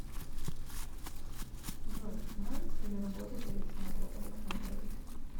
джой нравится ли работать александру александровичу